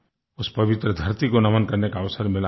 उस पवित्र धरती को नमन करने का अवसर मिला